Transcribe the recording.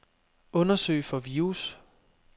Undersøg for virus.